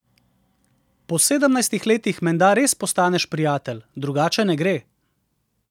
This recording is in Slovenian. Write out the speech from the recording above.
Po sedemnajstih letih menda res postaneš prijatelj, drugače ne gre.